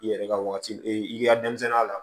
I yɛrɛ ka wagati e ka denmisɛnninya la